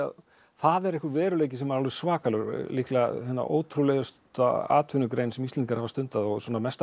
það er einhver veruleiki sem er alveg svakalegur líklega ótrúlegasta atvinnugrein sem Íslendingar hafa stundað og svona mesta